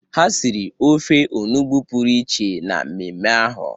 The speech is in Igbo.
Ha siri ofe onugbu pụrụ iche na mmemme ahụ.